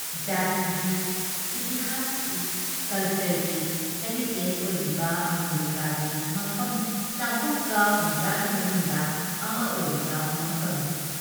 ꯖꯥꯇꯤꯒꯤ, ꯏꯇꯤꯍꯥꯁꯀꯤ, ꯀꯜꯆꯔꯒꯤ ꯍꯦꯔꯤꯇꯦꯖ ꯑꯣꯏꯔꯤꯕ ꯑꯃꯦꯔꯤꯀꯥꯒꯤ ꯃꯐꯝ ꯆꯍꯨꯝꯒ ꯍꯨꯝꯗ꯭ꯔꯥ ꯒꯤ ꯃꯅꯨꯡꯗ ꯑꯃ ꯑꯣꯏꯔꯤꯕ ꯃꯐꯝꯅꯤ ꯫